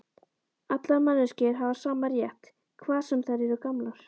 Allar manneskjur hafa sama rétt, hvað sem þær eru gamlar.